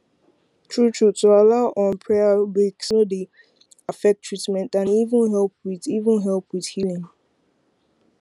truetrue to allow um prayer breaks no dey affect treatment and e even help wit even help wit healin